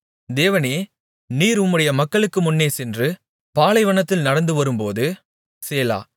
தேவனே நீர் உம்முடைய மக்களுக்கு முன்னே சென்று பாலைவனத்தில் நடந்து வரும்போது சேலா